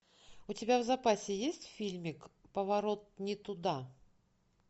у тебя в запасе есть фильмик поворот не туда